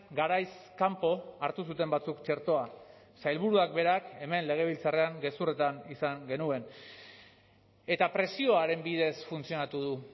garaiz kanpo hartu zuten batzuk txertoa sailburuak berak hemen legebiltzarrean gezurretan izan genuen eta presioaren bidez funtzionatu du